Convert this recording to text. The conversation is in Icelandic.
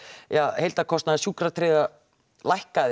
heildarkostnaður sjúkratryggða lækkaði